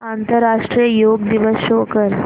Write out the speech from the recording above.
आंतरराष्ट्रीय योग दिवस शो कर